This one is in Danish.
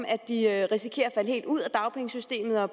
at de risikerer at falde helt ud af dagpengesystemet og